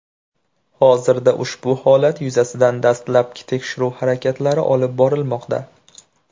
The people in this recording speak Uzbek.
Hozirda ushbu holat yuzasidan dastlabki tekshiruv harakatlari olib borilmoqda.